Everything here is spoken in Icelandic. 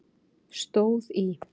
stóð í